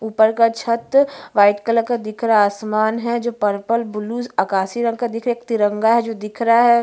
इस इमेज में मुझे एक बहोत बड़ा गार्डन दिख रहा है जिसका मिट्टी है जो--